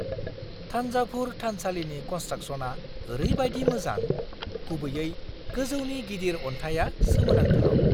थान्जाभुर थानसालिनि कन्सट्राकस'नआ ओरैबायदि मोजां, गुबैयै गोजौनि गिदिर अन्थाइया सोमोनांथाव!